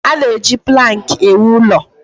A na-eji plankị ewu ụlọ.